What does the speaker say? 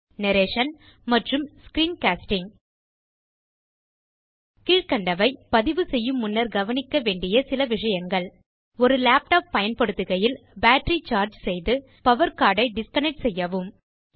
narration மற்றும் screen casting கீழ்க்கண்டவை பதிவு செய்யும் முன்னர் கவனிக்க வேண்டிய சில விஷயங்கள் ஒரு லேப்டாப் பயன்படுத்துகையில் பேட்டரி சார்ஜ் செய்து பவர் கோர்ட் ஐ டிஸ்கனெக்ட் செய்யவும்